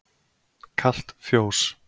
Kalt fjós